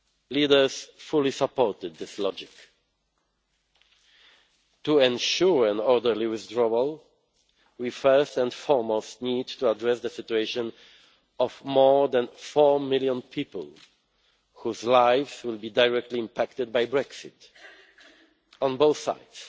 Leaders fully supported this logic. To ensure an orderly withdrawal, we first and foremost need to address the situation of more than four million people whose lives will be directly impacted by Brexit, on both sides.